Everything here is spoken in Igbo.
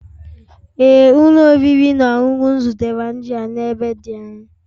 Ee ụlọ oriri na ọṅụṅụ m zụtara nri a n'ebe dị anya